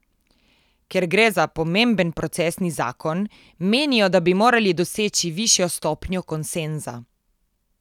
Ker gre za pomemben procesni zakon, menijo, da bi morali doseči višjo stopnjo konsenza.